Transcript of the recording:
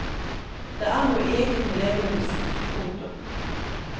Det er noe eget med levende musikk. punktum